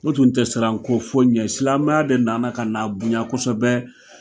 U tun tɛ siran ko foyi ɲɛ, silamɛya de nana kana bonya kosɛbɛ